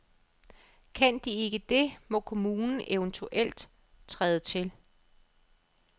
Kan de ikke det, må kommunen eventuelt træde til.